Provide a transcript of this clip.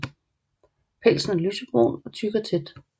Pelsen er lysebrun og tyk og tæt